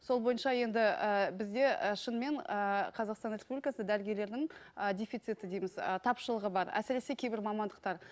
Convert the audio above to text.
сол бойынша енді ііі бізде і шынымен ііі қазақстан республикасы дәрігерлердің ы дефициті дейміз ы тапшылығы бар әсіресе кейбір мамандықтар